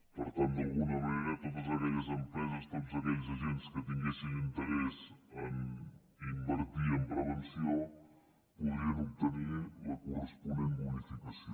per tant d’alguna manera totes aquelles empreses tots aquells agents que tinguessin interès a invertir en prevenció podrien obtenir la corresponent bonificació